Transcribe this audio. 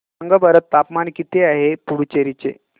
सांगा बरं तापमान किती आहे पुडुचेरी चे